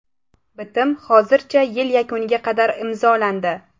Bitim hozircha yil yakuniga qadar imzolandi.